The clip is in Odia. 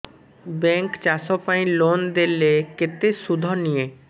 ବ୍ୟାଙ୍କ୍ ଚାଷ ପାଇଁ ଲୋନ୍ ଦେଲେ କେତେ ସୁଧ ନିଏ